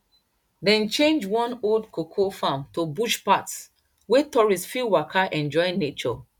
dem change one old cocoa farm to bush path wey tourists fit waka enjoy nature